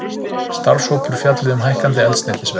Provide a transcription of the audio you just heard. Starfshópur fjalli um hækkandi eldsneytisverð